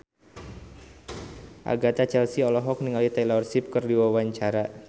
Agatha Chelsea olohok ningali Taylor Swift keur diwawancara